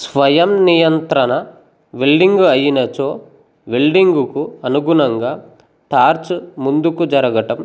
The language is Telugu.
స్వయం నియంత్రణ వెల్డింగు అయ్యినచో వెల్డింగుకు అనుగుణంగా టార్చు ముందుకు జరగడం